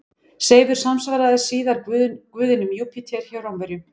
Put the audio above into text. Seifur samsvaraði síðar guðinum Júpíter hjá Rómverjum.